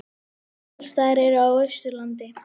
Egilsstaðir eru á Austurlandi.